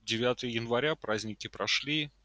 девятого января праздники прошли